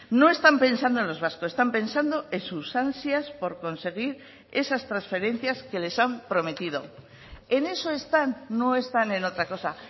no están pensando en los vascos están pensando en sus ansias por conseguir esas transferencias que les han prometido en eso están no están en otra cosa